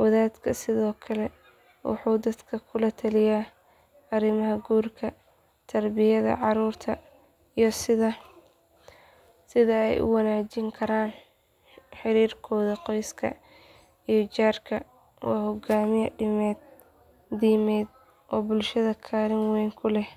wadadku sidoo kale wuxuu dadka kula taliyaa arrimaha guurka tarbiyada caruurta iyo sida ay u wanaajin karaan xiriirkooda qoyska iyo jaarka waa hogaamiye diimeed oo bulshada kaalin weyn ku leh.